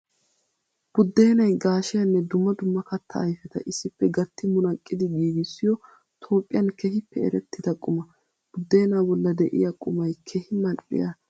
Budeenay gashiyanne dumma dumma katta ayfetta issippe gatti munaqqiddi giigissiyo toophphiyan keehippe erettida quma. Budeena bolla de'iya qumay keehi mali'iya dumma dumma kattata.